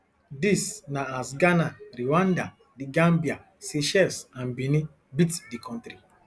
dis na as ghana rwanda the gambia seychelles and benin beat di kontri